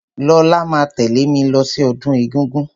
Lọlá máa tẹ̀lẹ́ mí lọ sí ọdún egúngún.